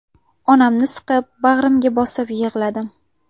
Onamni siqib bag‘rimga bosib yig‘ladim.